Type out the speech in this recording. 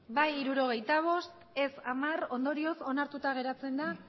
bai hirurogeita bost ez hamar ondorioz onartuta geratzen da